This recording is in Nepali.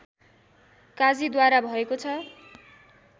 काजीद्वारा भएको छ